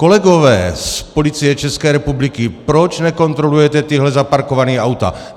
Kolegové z Policie České republiky, proč nekontrolujete tahle zaparkovaná auta?